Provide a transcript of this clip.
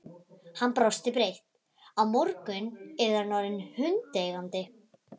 Hann brosti breitt: Á morgun yrði hann orðinn hundeigandi!